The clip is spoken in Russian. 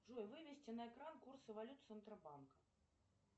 джой вывести на экран курсы валют центробанка